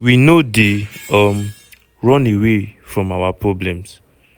we no dey um run away from our problems.